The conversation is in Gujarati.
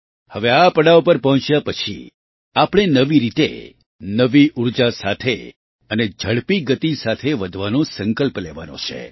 હવે આ પડાવ પર પહોંચ્યા પછી આપણે નવી રીતે નવી ઊર્જા સાથે અને ઝડપી ગતિ સાથે વધવાનો સંકલ્પ લેવાનો છે